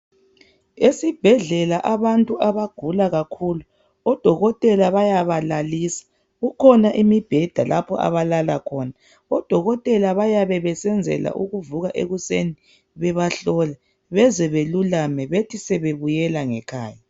Esibhedlela abantu abagula kakhulu, odokotela bayabalalisa. Kukhona imibheda lapha abalala khona. Odokoteka bayabe besenzela ukuvuka ekuseni bebahlola beze belulame bethi sebebuyela ngekhaya.